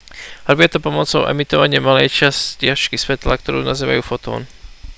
robia to pomocou emitovania malej čiastočky svetla ktorá sa nazýva fotón